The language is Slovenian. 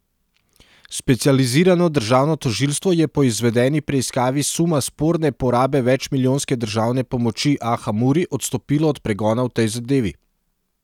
Specializirano državno tožilstvo je po izvedeni preiskavi suma sporne porabe večmilijonske državne pomoči Aha Muri odstopilo od pregona v tej zadevi.